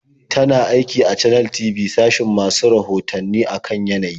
Tana aiki a Channels TV sashin masu rahoto a kan yanayi.